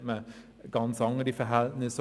Dort hat man also ganz andere Verhältnisse.